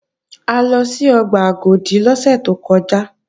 A lọ sí ọgbà Agodi lọ́sẹ̀ tó kọjá